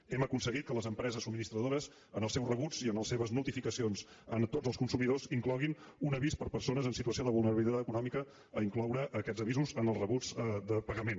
hem aconseguit que les empreses subministradores en els seus rebuts i en les seves notificacions a tots els consumidors incloguin un avís per a persones en situació de vulnerabilitat econòmica a incloure aquests avisos en els rebuts de pagament